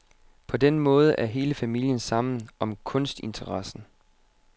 På den måde er hele familien sammen om kunstinteressen.